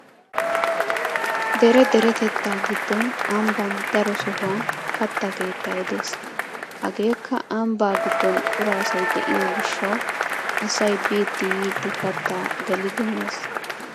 Dere deretettaa giddon ambban daro sohuwan katta keettay de'es. Hageekka ambban giddon cora asay diyo gishshawu asay biiddi yiiddi kattaa gelidi mes.